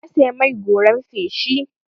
Na saya mai goran feshi.